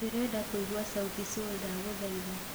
ndĩrenda kuĩgwa sauti sol ndagũhaĩtha